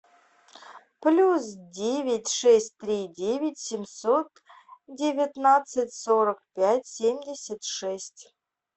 плюс девять шесть три девять семьсот девятнадцать сорок пять семьдесят шесть